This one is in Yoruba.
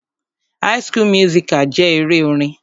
High school musical jẹ́ eré orin.